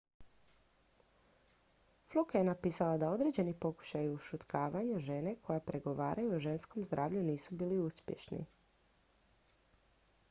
fluke je napisala da određeni pokušaji ušutkivanja žena koje progovaraju o ženskom zdravlju nisu bili uspješni